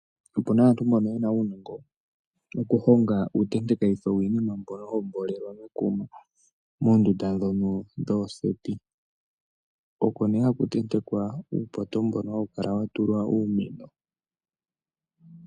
Opuna aantu mbono yena uunongo wokuhonga uutentekitho wiinima mbono hawu mboolelwa mekuma moondunda ndhono dhooseti, oko nee haku tentekwa uupoto mbono hawu kala watulwa uumeno.